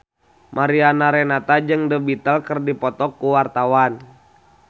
Mariana Renata jeung The Beatles keur dipoto ku wartawan